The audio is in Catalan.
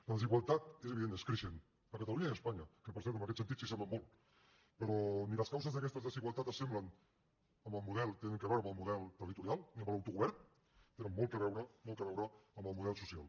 la desigualtat és evident és creixent a catalunya i espanya que per cert en aquest sentit s’assemblen molt però ni les causes d’aquestes desigualtats s’assemblen al model tenen a veure amb el model territorial ni amb l’autogovern tenen molt a veure molt a veure amb el model social